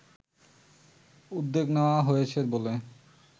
উদ্যোগ নেওয়া হয়েছে বলে